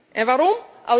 En waarom?